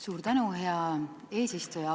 Suur tänu, hea eesistuja!